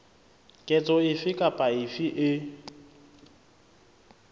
ketso efe kapa efe e